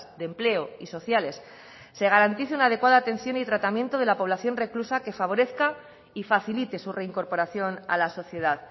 de empleo y sociales se garantice una adecuada atención y tratamiento de la población reclusa que favorezca y facilite su reincorporación a la sociedad